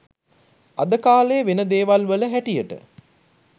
අද කාලේ වෙන දේවල් වල හැටියට